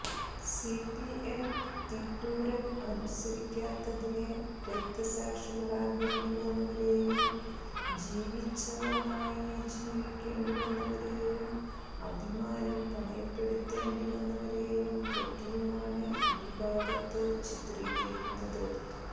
CPM തിട്ടൂരം അനുസരിക്കാത്തതിന് രക്തസാക്ഷികളാകേണ്ടി വന്നവരെയും ജീവിച്ഛവമായി ജീവിക്കേണ്ടി വന്നവരെയും അഭിമാനം പണയപ്പെടുത്തേണ്ടി വന്നവരെയും പറ്റിയുമാണ് ഈ ഭാഗത്ത് ചിത്രീകരിക്കുന്നത്